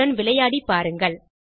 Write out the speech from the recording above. இத்துடன் விளையாடி பாருங்கள்